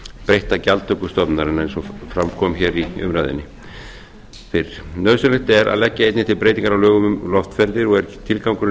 breytta gjaldtöku stofnunarinnar eins og fara kom í umræðunni nauðsynlegt er að leggja einnig til breytingar á lögum um loftferðir og er tilgangurinn